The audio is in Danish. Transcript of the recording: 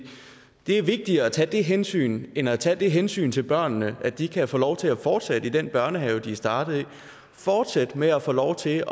det er vigtigere at tage det hensyn end at tage det hensyn til børnene at de kan få lov til at fortsætte i den børnehave de er startet i og fortsætte med at få lov til at